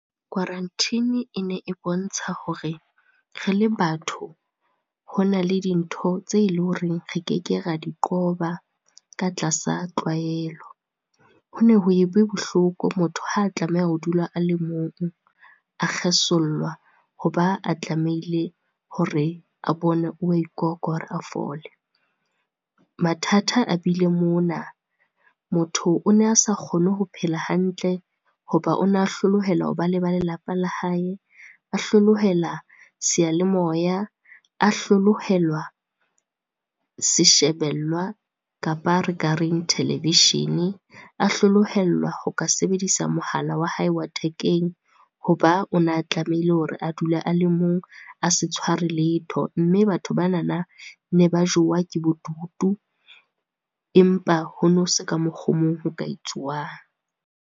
Quarantine e ne e bontsha hore re le batho, ho na le dintho tse le horeng re ke ke ra di qoba ka tlasa tlwaelo. Ho ne ho ebe bohloko motho ha tlameha ho dula a le mong, a kgesollwa hoba a tlamehile hore a bone wa , a fole. Mathata a bile mona, motho o ne a sa kgone ho phela hantle ho ba o na hlolehela hoba le ba lelapa la hae, a hlolohela seyalemoya, a hlolohelwa se shebelwa kapa televishene, a hlolohellwa ho ka sebedisa mohala wa hae wa thekeng, ho ba o na tlamehile hore a dula a le mong, a se tshwarwe letho. Mme batho bana-na ne ba jowa ke bodutu empa hono se ka mokgo mong ho ka etsuwang.